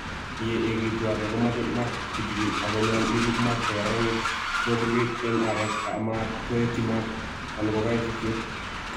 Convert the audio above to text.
yeegitu areek komache maat kitigin ak konyol irib maat ko kararanit sikoburgeit en areek amat koeetyi maat ana kokaititit.